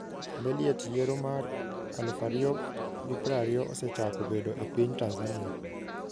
Beliet yiero mar 2020 osechako bedo e piny Tanzania?